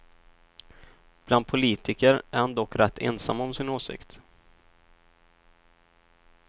Bland politiker är han dock rätt ensam om sin åsikt.